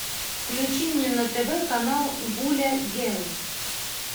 включи мне на тв канал гуля гел